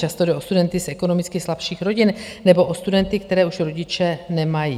Často jde o studenty z ekonomicky slabších rodin, nebo o studenty, kteří už rodiče nemají.